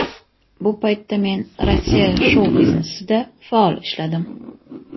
Bu paytda men Rossiya shou-biznesida faol ishladim.